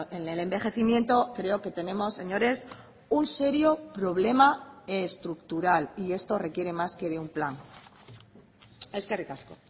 en el envejecimiento creo que tenemos señores un serio problema estructural y esto requiere más que de un plan eskerrik asko